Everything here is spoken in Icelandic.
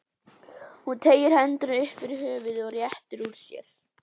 Hún teygir hendurnar upp fyrir höfuðið og réttir úr sér.